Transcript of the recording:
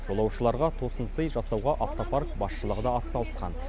жолаушыларға тосын сый жасауға автопарк басшылығы да атсалысқан